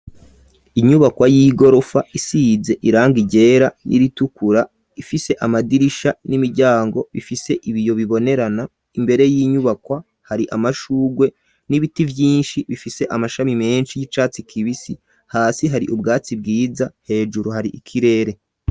Inyubakwa y'igorofa isize irangi ryera n'iritukura ifise amadirisha n'imiryango bifise ibiyo bibonerana, imbere y'inyubakwa hari amashugwe n'ibiti vyinshi bifise amashami menshi y'icatsi kibisi, hasi hari ubwatsi bwiza, hejuru hari ikirere.